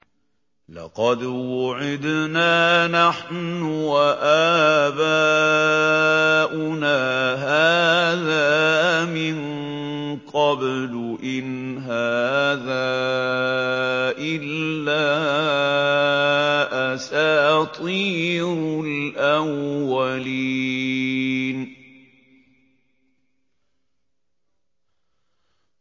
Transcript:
لَقَدْ وُعِدْنَا نَحْنُ وَآبَاؤُنَا هَٰذَا مِن قَبْلُ إِنْ هَٰذَا إِلَّا أَسَاطِيرُ الْأَوَّلِينَ